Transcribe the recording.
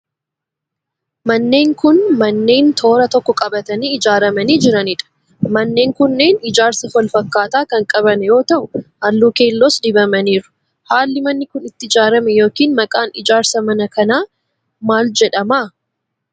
Manneen kun, manneen toora tokko qabatanii ijaaramanii jiranii dha. Manneen kunneen ijaarsa walfakkaataa kan qaban yoo ta'u, haalluu keelloos dibamaniiru. Haalli manni kun itti ijaarame yokin maqaan ijaarsa manaa akka kanaa maal jedhama?